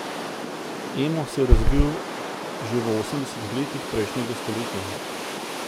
Emo se je razvil že v osemdesetih letih prejšnjega stoletja.